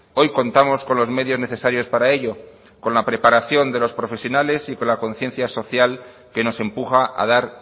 hoy contamos con los medios necesarios para ello con la preparación de los profesionales y con la conciencia social que nos empuja a dar